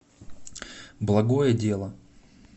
благое дело